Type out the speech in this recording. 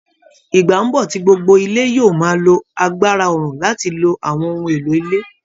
Ìgbà ń bọ̀ tí gbogbo ilé yóò máa lo agbára oòrùn láti lo àwọn ohun èlò ilé